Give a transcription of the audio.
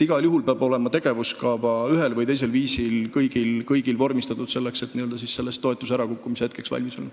Igal juhul peab kõigil olema tegevuskava ühel või teisel viisil vormistatud nii, et toetuse ärakukkumise hetkeks valmis olla.